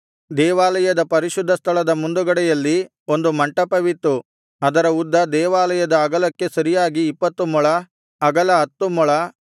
ದೇವಾಲಯದ ಪರಿಶುದ್ಧ ಸ್ಥಳದ ಮುಂದುಗಡೆಯಲ್ಲಿ ಒಂದು ಮಂಟಪವಿತ್ತು ಅದರ ಉದ್ದ ದೇವಾಲಯದ ಅಗಲಕ್ಕೆ ಸರಿಯಾಗಿ ಇಪ್ಪತ್ತು ಮೊಳ ಅಗಲ ಹತ್ತು ಮೊಳ